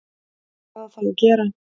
Hvað á þá að gera?